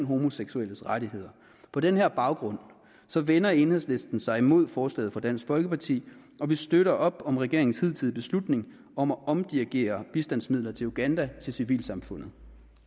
homoseksuelles rettigheder på den her baggrund vender enhedslisten sig imod forslaget fra dansk folkeparti og vi støtter op om regeringens hidtidige beslutning om at omdirigere bistandsmidler til uganda til civilsamfundet